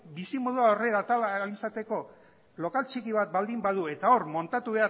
bizimodua aurrera atera ahal izateko lokal txiki bat baldin badu eta hor muntatu